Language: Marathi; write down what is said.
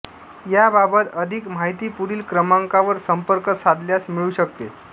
याबाबत अधिक माहिती पुढील क्रमांकावर संपर्क साधल्यास मिळू शकेल